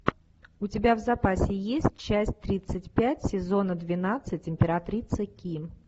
у тебя в запасе есть часть тридцать пять сезона двенадцать императрица ки